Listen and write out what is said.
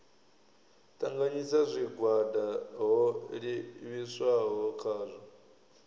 ṱanganyisa zwigwada ho livhiswaho khazwo